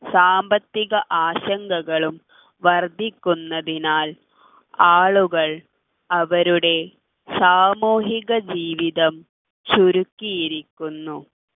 സാമ്പത്തിക ആശങ്കകളും വർദ്ധിക്കുന്നതിനാൽ ആളുകൾ അവരുടെ സാമൂഹിക ജീവിതം ചുരുക്കിയിരിക്കുന്നു